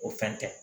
O fɛn tɛ